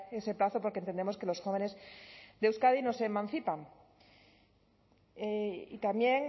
ese plazo porque entendemos que los jóvenes de euskadi no se emancipan y también